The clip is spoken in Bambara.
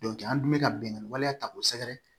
an dun bɛ ka bingani waleya ta k'o sɛgɛrɛ